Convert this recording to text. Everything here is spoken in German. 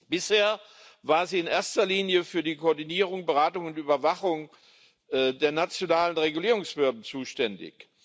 Bisher war sie in erster Linie für die Koordinierung, Beratung und Überwachung der nationalen Regulierungsbehörden zuständig.